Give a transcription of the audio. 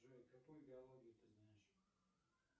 джой какую биологию ты знаешь